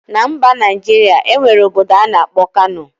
Na mba Najiria, enwere obodo ana akpo Kano.